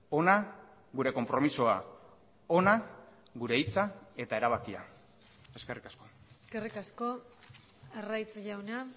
hona gure konpromisoa hona gure hitza eta erabakia eskerrik asko eskerrik asko arraiz jauna